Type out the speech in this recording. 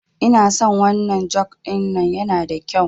Inason wannan juk ɗin nan yana da kyau